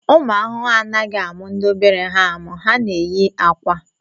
Ụmụ ahụhụ anaghị amụ ndị obere ha amụ, ha na-eyi akwa